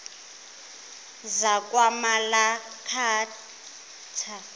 zakwamalakatha